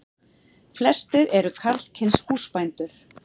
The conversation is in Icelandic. Flestir eru karlkyns húsbændur.